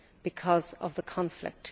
because of the conflict.